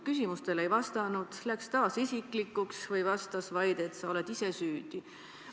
Küsimustele ei vastanud, läks taas isiklikuks või vastas vaid, et sa oled ise süüdi.